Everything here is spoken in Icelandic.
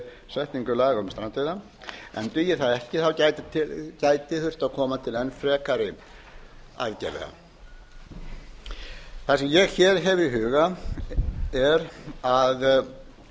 setningu laga um strandveiða en dugi það ekki gæti þurft að koma til enn frekari aðgerða það sem ég hef í huga er að